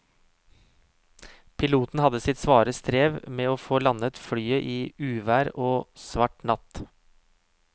Piloten hadde sitt svare strev med å få landet flyet i uvær og svart natt.